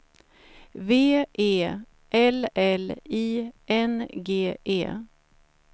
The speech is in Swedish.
V E L L I N G E